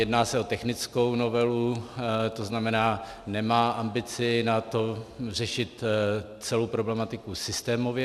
Jedná se o technickou novelu, to znamená, nemá ambici na to řešit celou problematiku systémově.